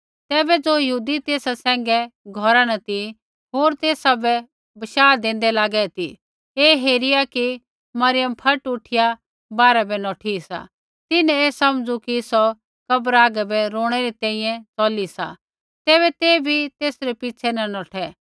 तैबै ज़ो यहूदी तेसा सैंघै घौरा न ती होर तेसा बै बशाह देन्दै लागै ती ऐ हेरिया कि मरियम फट उठिया बाहरै बै नौठी सा तिन्हैं ऐ समझू कि सौ कब्र हागै बै रौणै री तैंईंयैं चौली सा तैबै ते बी तेसरै पिछ़ै न नौठै